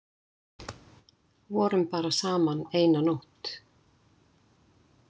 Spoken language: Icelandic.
Vorum bara saman eina nótt.